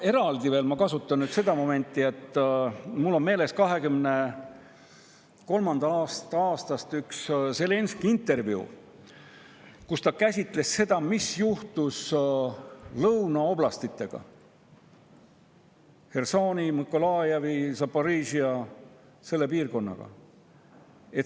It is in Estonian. Ma kasutan nüüd seda, et mul on meeles üks Zelenskõi intervjuu 2023. aastast, kus ta käsitles seda, mis juhtus lõunaoblastitega, Hersoniga, Mõkolajiviga, Zaporižžjaga, selle piirkonnaga.